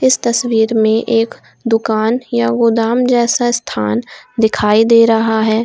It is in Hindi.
इस तस्वीर में एक दुकान या गोदाम जैसा स्थान दिखाई दे रहा है।